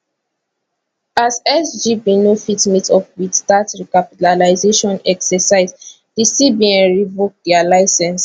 as sgb no fit meet up wit dat recapitalisation exercise di cbn revoke dia licence